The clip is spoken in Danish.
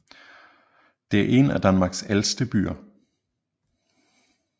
Det er en af Danmarks ældste byer